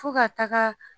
Fo ka taga